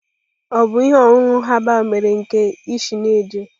Ọ bụ ihe ọṅụṅụ herbal mere nke isenaje?